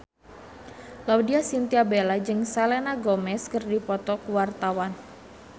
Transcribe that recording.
Laudya Chintya Bella jeung Selena Gomez keur dipoto ku wartawan